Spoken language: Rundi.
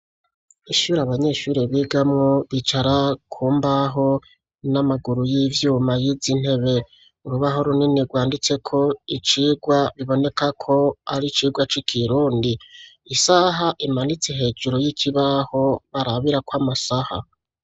Ishure abanyeshuri bigamwo bicara ku mbaho n'amaguru y'ivyuma yizi ntebe urubaho runini rwanditseko icigwa biboneka ko ari icigwa c'ikirundi isaha imanitse hejuru y'ikibaho barabirako amasaha.